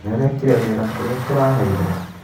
Nĩ ũrekire wĩra ũrĩa tũraheirwo?